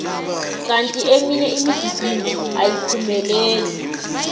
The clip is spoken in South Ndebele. kanti eminye imigidingo ayiphumeleli